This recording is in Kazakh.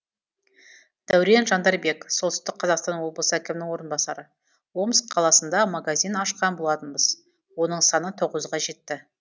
дәурен жандарбек солтүстік қазақстан облысы әкімінің орынбасары омск қаласында магазин ашқан болатынбыз оның саны тоғызға жетті